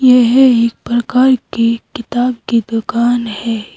यह एक प्रकार की किताब की दुकान है।